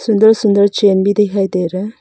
सुन्दर सुन्दर चेन भी दिखाई दे रहा है।